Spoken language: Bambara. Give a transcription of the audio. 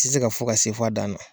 Tɛ se ka fɔ ka se f'a dan na.